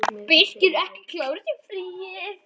Birkir ekki klár eftir fríið?